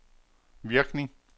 virkning